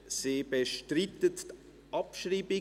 Sie bestreitet die Abschreibung.